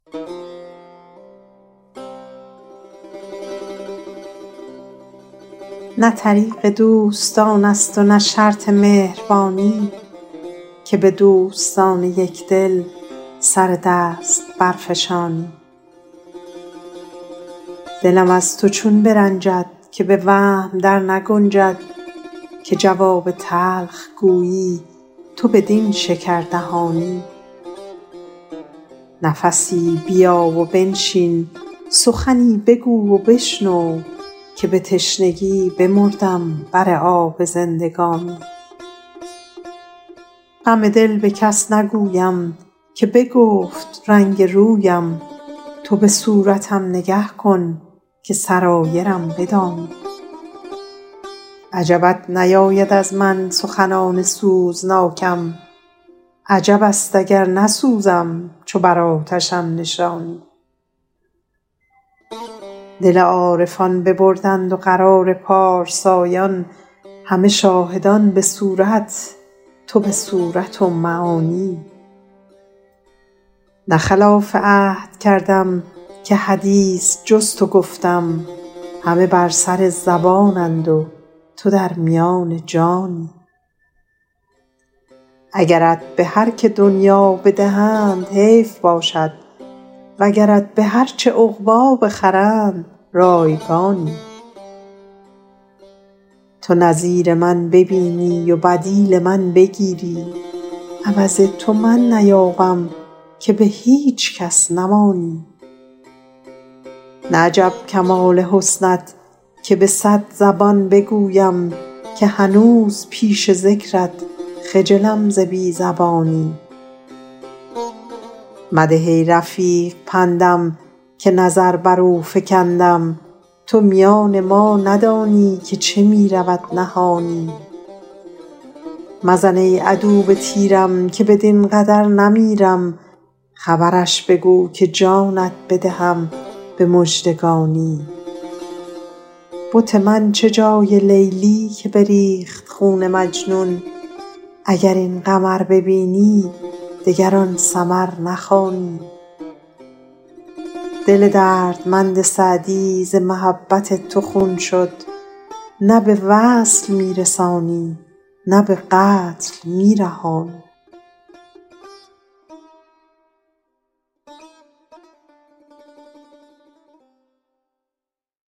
نه طریق دوستان است و نه شرط مهربانی که به دوستان یک دل سر دست برفشانی دلم از تو چون برنجد که به وهم در نگنجد که جواب تلخ گویی تو بدین شکردهانی نفسی بیا و بنشین سخنی بگو و بشنو که به تشنگی بمردم بر آب زندگانی غم دل به کس نگویم که بگفت رنگ رویم تو به صورتم نگه کن که سرایرم بدانی عجبت نیاید از من سخنان سوزناکم عجب است اگر بسوزم چو بر آتشم نشانی دل عارفان ببردند و قرار پارسایان همه شاهدان به صورت تو به صورت و معانی نه خلاف عهد کردم که حدیث جز تو گفتم همه بر سر زبانند و تو در میان جانی اگرت به هر که دنیا بدهند حیف باشد وگرت به هر چه عقبی بخرند رایگانی تو نظیر من ببینی و بدیل من بگیری عوض تو من نیابم که به هیچ کس نمانی نه عجب کمال حسنت که به صد زبان بگویم که هنوز پیش ذکرت خجلم ز بی زبانی مده ای رفیق پندم که نظر بر او فکندم تو میان ما ندانی که چه می رود نهانی مزن ای عدو به تیرم که بدین قدر نمیرم خبرش بگو که جانت بدهم به مژدگانی بت من چه جای لیلی که بریخت خون مجنون اگر این قمر ببینی دگر آن سمر نخوانی دل دردمند سعدی ز محبت تو خون شد نه به وصل می رسانی نه به قتل می رهانی